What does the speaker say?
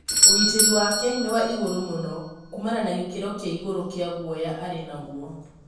ũgitĩri wake nĩ wa igũrũ mũno, kuumana na gĩkĩro kĩa igũrũ kĩa gũoya arĩ nagũo